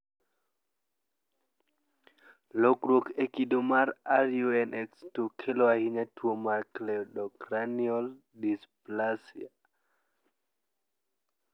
Lokruok e kido mag RUNX2 kelo ahinya tuo mar cleidocranial dysplasia.